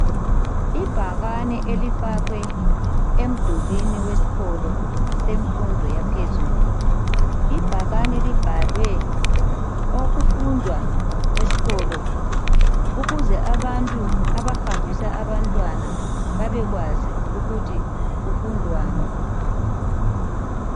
Ibhakane elifakwe emdulwini wesikolo semfundo yaphezulu ibhakane libhalwe okufundwa eskolo ukuze abantu abahambisa abantwana babekwazi ukuthi kufundwani.